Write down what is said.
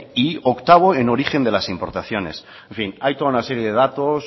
y octavo en origen de las importaciones en fin hay toda una serie de datos